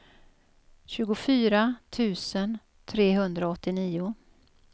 tjugofyra tusen trehundraåttionio